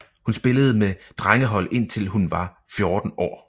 Hun spillede med drengehold indtil hun var 14 år